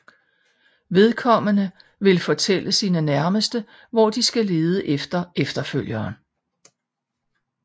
Vedkommende vil fortælle sine nærmeste hvor de skal lede efter efterfølgeren